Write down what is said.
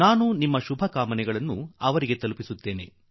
ನಾನು ನಿಮ್ಮ ಹಾರೈಕೆಗಳನ್ನು ಅವರ ಬಳಿ ತಲುಪಿಸುವೆ